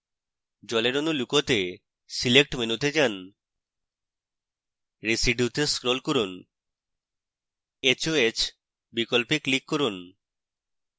জলের অণু লুকোতে select মেনুতে যান residue to scroll করুন hoh বিকল্পে click করুন